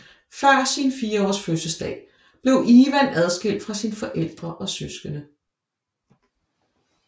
Før sin 4 års fødselsdag blev Ivan adskilt fra sine forældre og søskende